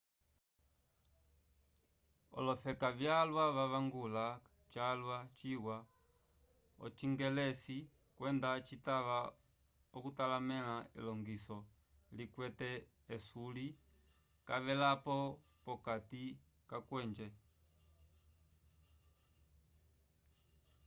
olofeka vyalwa vavangula calwa ciwa ocingelesi kwenda citava okutalamẽla elilongiso likwete esuilo cavelapo p'okati kakwenje